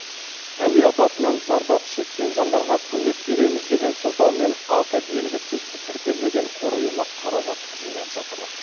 әуе апатынан зардап шеккен жандарға көмек береміз деген сылтаумен аты белгісіз тіркелмеген қор ұйымы қаражат жинап жатыр